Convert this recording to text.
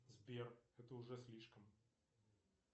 сбер это уже слишком